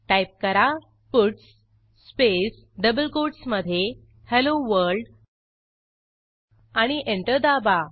type करा puts space double कोटसमधे hello world आणि एंटर दाबा